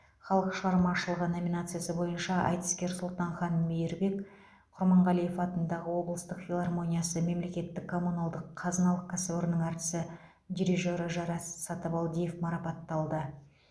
халық шығармашылығы номинациясы бойынша айтыскер сұлтанхан мейірбек құрманғалиев атындағы облыстық филармониясы мемлекеттік коммуналдық қазыналық кәсіпорнының әртісі дирижері жарас сатыбалдиев марапатталды